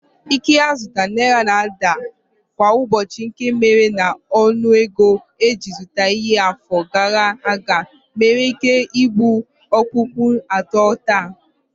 Ike nzụta naira na-ada kwa ụbọchị nke mere na ọnụego e ji zụta ihe n'afọ gara aga nwereike ibu okpukpo atọ taa